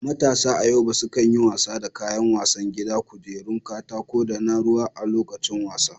Matasa a Yobe sukan yi wasa da kayan wasan gida, kujerun katako, da na ruwa a lokacin wasa.